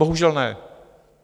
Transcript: Bohužel ne.